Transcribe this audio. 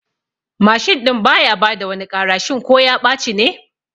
Mashin ɗin baya bada wani ƙara shin ko ya ɓaci ne?